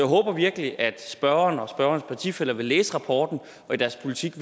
håber virkelig at spørgeren og spørgerens partifæller vil læse rapporten og i deres politik